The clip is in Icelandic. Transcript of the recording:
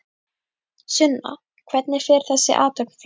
Sunna hvernig fer þessi athöfn fram?